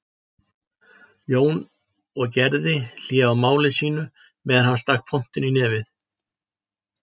Jón og gerði hlé á máli sínu meðan hann stakk pontunni í nefið.